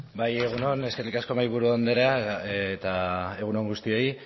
bai egun on eskerrik asko mahaiburu andrea eta egun on guztioi